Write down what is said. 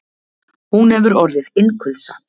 Hún hefur orðið innkulsa.